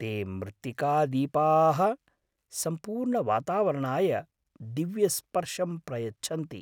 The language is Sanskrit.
ते मृत्तिकादीपाः सम्पूर्णवातावरणाय दिव्यस्पर्शं प्रयच्छन्ति।